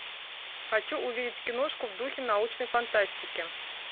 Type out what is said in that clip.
хочу увидеть киношку в духе научной фантастики